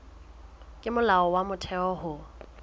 ke molao wa motheo ho